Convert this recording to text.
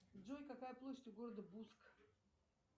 джой какая площадь у города буск